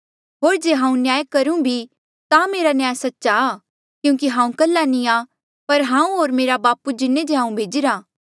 होर जे हांऊँ न्याय करूं भी ता मेरा न्याय सच्चा आ क्यूंकि हांऊँ कल्हा नी आ पर हांऊँ होर मेरा बापू जिन्हें जे हांऊँ भेजिरा